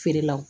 Feerelaw